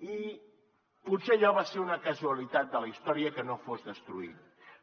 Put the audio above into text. i potser allò va ser una casualitat de la història que no fos destruït